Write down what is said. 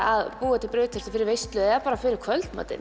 að búa til brauðtertur fyrir veislur eða bara fyrir kvöldmatinn